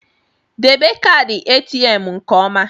Debe kaadị ATM nke ọma!